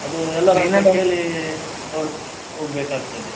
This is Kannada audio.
ಅದು ಎಲ್ಲಾರ್ ಕೇಳಿ ನೋಡು ಹೋಗ್ಬೇಕ್ ಆಗ್ತದೆ.